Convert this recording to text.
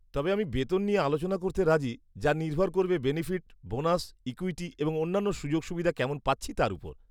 -তবে আমি বেতন নিয়ে আলোচনা করতে রাজি, যা নির্ভর করবে বেনিফিট, বোনাস, ইক্যুইটি এবং অন্যান্য সুযোগ সুবিধা কেমন পাচ্ছি তার উপর।